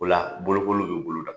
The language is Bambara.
O la bolokolu be boloda